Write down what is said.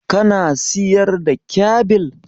Kana siyar da kyabil?